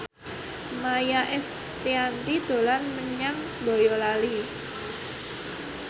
Maia Estianty dolan menyang Boyolali